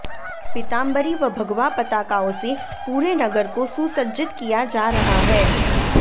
पीताम्बरी व भगवा पताकाओं से पूरे नगर को सुसज्जित किया जा रहा है